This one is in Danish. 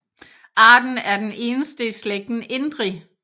Arten er den eneste i slægten Indri